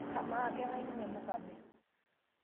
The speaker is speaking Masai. Kamaa kang'ai ninye Mukabe?